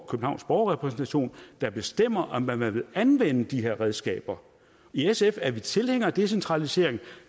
københavns borgerrepræsentation der bestemmer om man man vil anvende de her redskaber i sf er vi tilhængere af decentralisering